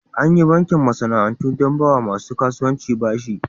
Anyi bankin masana'antu don bawa masu kasuwanci bashi.